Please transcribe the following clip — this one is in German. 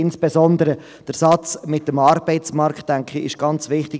Insbesondere ist der Satz mit dem Arbeitsmarkt, denke ich, ganz wichtig.